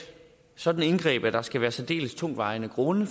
sådant indgreb at der skal være særdeles tungtvejende grunde